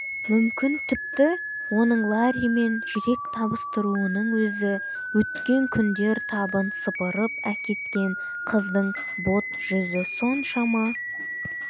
мүмкін тіпті оның ларримен жүрек табыстыруының өзі өткен күндер табын сыпырып әкеткен қыздың бот-жүзі соншама